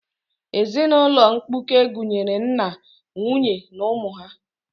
Ezinaụlọ mkpuke gụnyere nna, nwunye na ụmụ ha.